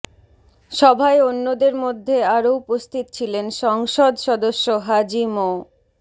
সভায় অন্যদের মধ্যে আরও উপস্থিত ছিলেন সংসদ সদস্য হাজী মো